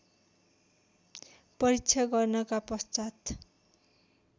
परीक्षा गर्नका पश्चात्